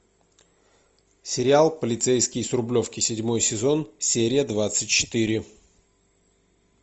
сериал полицейский с рублевки седьмой сезон серия двадцать четыре